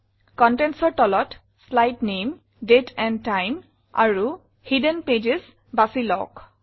Contentsৰ তলত শ্লাইড নামে date and time আৰু হিডেন পেজেছ বাছি লওক